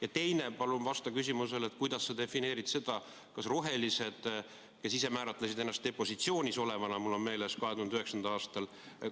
Ja teiseks, palun vasta küsimusele, kuidas sa defineerid seda, kus olid rohelised, kes ise määratlesid ennast opositsioonis olevana, nagu mul on meeles, 2009. aastal.